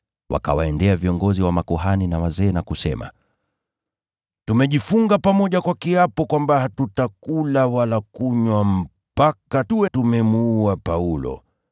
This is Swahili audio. Wakawaendea viongozi wa makuhani na wazee na kusema, “Tumejifunga pamoja kwa kiapo kwamba hatutakula wala kunywa mpaka tuwe tumemuua Paulo.